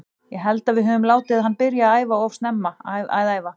Ég held að við öfum látið hann byrja að æfa of snemma að æfa.